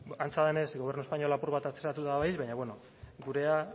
antza denez gobernu espainola apur bat atzeratuta dabil baina beno gurea